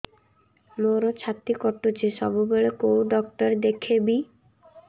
ମୋର ଛାତି କଟୁଛି ସବୁବେଳେ କୋଉ ଡକ୍ଟର ଦେଖେବି